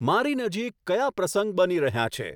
મારી નજીક કયા પ્રસંગ બની રહ્યાં છે